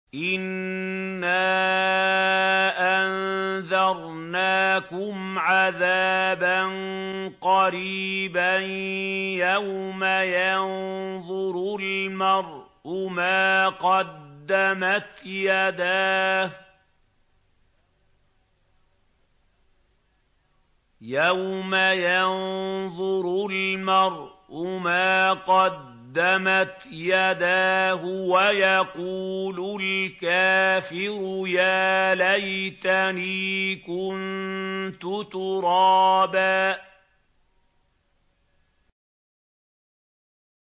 إِنَّا أَنذَرْنَاكُمْ عَذَابًا قَرِيبًا يَوْمَ يَنظُرُ الْمَرْءُ مَا قَدَّمَتْ يَدَاهُ وَيَقُولُ الْكَافِرُ يَا لَيْتَنِي كُنتُ تُرَابًا